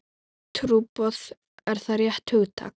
Trúboð, er það rétt hugtak?